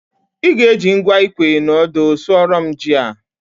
ị ga-eji ngwa ikwe na ọdụ sụọrọ m ji a